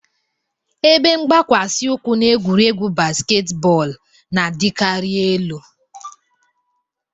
Ebe mgbakwasị ụkwụ na egwuregwu basketball na-adịkarị elu